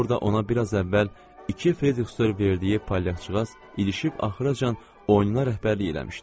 Orda ona biraz əvvəl iki freyriqster verdiyi palyaçıqaz ilişib axıracan oyuna rəhbərlik eləmişdi.